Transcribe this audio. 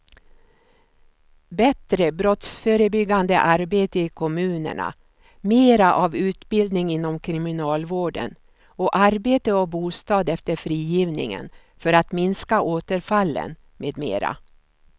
Bättre brottsförebyggande arbete i kommunerna, mera av utbildning inom kriminalvården och arbete och bostad efter frigivningen för att minska återfallen med mera.